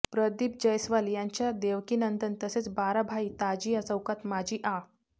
प्रदीप जैस्वाल यांच्या देवकीनंदन तसेच बाराभाई ताजीया चौकात माजी आ